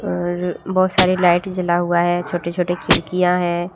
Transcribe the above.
और बहुत सारी लाइट जला हुआ है छोटे छोटे खिड़कियां है।